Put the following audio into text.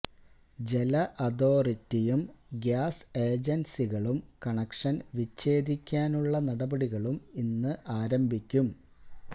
ജല അഥോറിറ്റിയും ഗ്യാസ് ഏജൻസികളും കണക്ഷൻ വിഛേദിക്കാനുള്ള നടപടികളും ഇന്ന് ആരംഭിക്കും